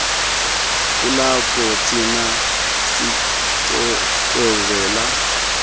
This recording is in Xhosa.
kulapho thina sicwezela